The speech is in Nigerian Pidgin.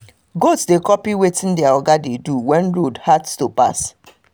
goat dey copy wetin their oga de do when road hard to pass